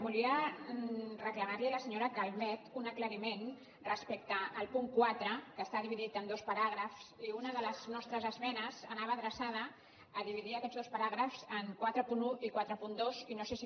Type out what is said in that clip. volia reclamar li a la senyora calvet un aclariment respecte al punt quatre que està dividit en dos paràgrafs i una de les nostres esmenes anava adreçada a dividir aquests dos paràgrafs en quaranta un i quaranta dos i no sé si